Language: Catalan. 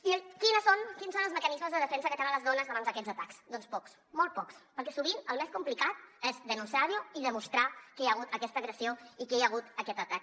i quins són els mecanismes de defensa que tenen les dones davant d’aquests atacs doncs pocs molt pocs perquè sovint el més complicat és denunciar ho i demostrar que hi ha hagut aquesta agressió i que hi ha hagut aquest atac